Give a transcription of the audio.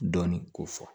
Dɔɔnin ko fɔ